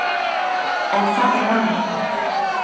En það var gaman.